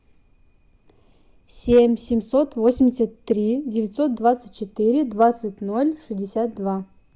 семь семьсот восемьдесят три девятьсот двадцать четыре двадцать ноль шестьдесят два